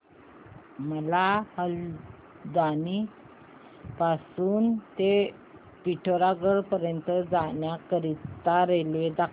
मला हलद्वानी पासून ते पिठोरागढ पर्यंत जाण्या करीता रेल्वे दाखवा